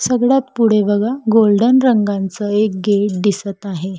सगळ्यात पुढे बघा गोल्डन रंगांच एक गेट दिसत आहे.